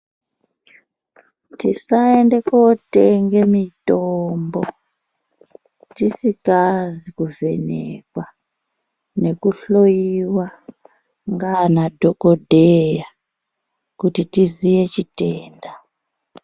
Tisaende kootenge mitombo tisikazi kuvhenekwa nekuhloiwa ngaana dhogodheya kuti tiziye chitenda.